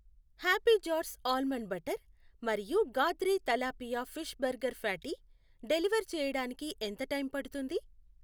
Happy jars almond butter మరియు Gadre tilapia fish burger patty deliver చేయడానికి ఎంత టైం పడుతుంది?